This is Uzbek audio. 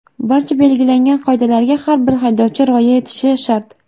Barcha belgilangan qoidalarga har bir haydovchi rioya etishi shart.